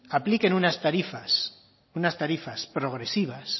apliquen unas tarifas unas tarifas progresivas